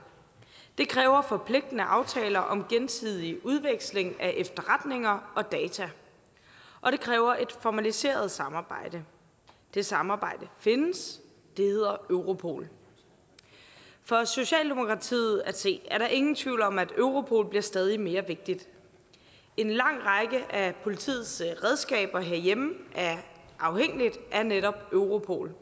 det kræver forpligtende aftaler om gensidig udveksling af efterretninger og data og det kræver et formaliseret samarbejde det samarbejde findes det hedder europol for socialdemokratiet at se er der ingen tvivl om at europol bliver stadig mere vigtigt en lang række af politiets redskaber herhjemme er afhængige af netop europol